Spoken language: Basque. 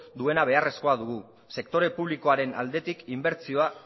duena beharrezkoa dugu sektore publikoaren aldetik inbertsioa